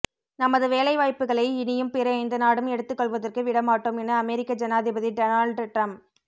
நமது வேலைவாய்ப்புகளை இனியும் பிற எந்த நாடும் எடுத்துக் கொள்வதற்கு விட மாட்டோம் என அமெரிக்க ஜனாதிபதி டொனால்டு டிரம்ப்